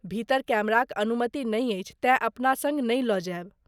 भीतर कैमराक अनुमति नहि अछि तेँ अपना सङ्ग नहि लऽ जायब।